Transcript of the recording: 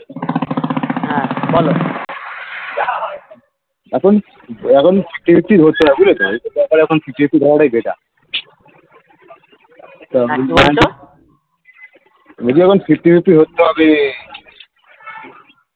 এখন এখন . বুঝলে তো এই সব ব্যাপারে এখন হওয়াটাই better নিজে এখন fifty fifty হতে হবে